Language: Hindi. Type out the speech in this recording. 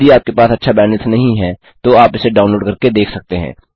यदि आपके पास अच्छा बैंडविड्थ नहीं है तो आप इसे डाउनलोड करके देख सकते हैं